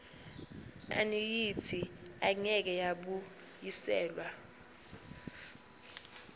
annuity engeke yabuyiselwa